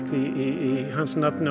í hans nafni og